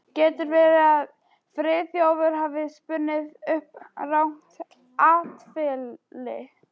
Getur verið að Friðþjófur hafi spunnið upp rangt atferli?